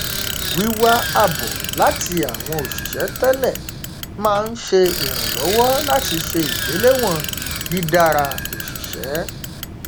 wíwá àbọ láti àwọn òṣìṣẹ tẹlẹ máa n ṣe ìrànlọwọ láti ṣe ìgbéléwọn dídára òṣìṣẹ